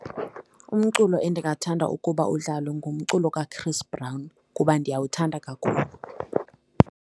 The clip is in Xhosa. Umculo endingathanda ukuba udlalwe ngumculo kaChris Brown kuba ndiyawuthanda kakhulu.